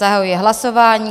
Zahajuji hlasování.